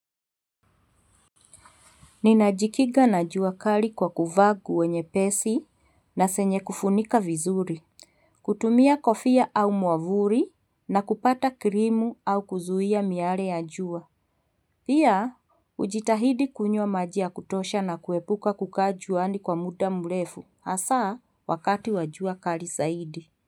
Ninajikiga na jua klii kwa kuvaa nguo nyepesi na zenye kufunika vizuri. Hutumia kofia au muavuli na kupaka krimu au kuzuia miale ya jua. Pia, hujitahidi kunywa maji ya kutosha na kuepuka kuka juani kwa muda mrefu. Hasaa, wakati wa jua kali zaidi.